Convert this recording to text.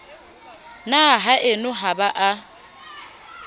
na haeno ha ba a